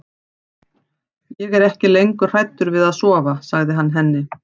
Ég er ekki lengur hræddur við að sofa, sagði hann henni.